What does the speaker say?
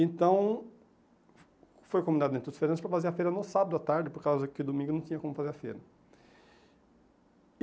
Então, foi combinado dentro dos feirantes para fazer a feira no sábado à tarde, por causa que domingo não tinha como fazer a feira.